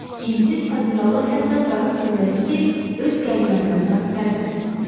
İngilis admiralı hətta qayıq göndərib ki, öz qənimətinə sahiblənsin.